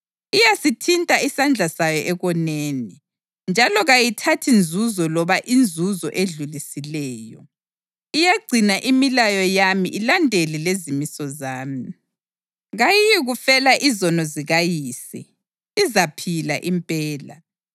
Iyasithinta isandla sayo ekoneni njalo kayithathi nzuzo loba inzuzo edlulisileyo. Iyagcina imilayo yami ilandele lezimiso zami. Kayiyikufela izono zikayise; izaphila impela.